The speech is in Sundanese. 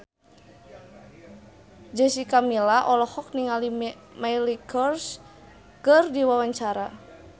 Jessica Milla olohok ningali Miley Cyrus keur diwawancara